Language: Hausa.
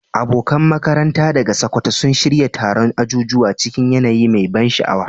Abokan makaranta daga Sokoto sun shirya taron ajujuwa cikin yanayi mai ban sha'awa.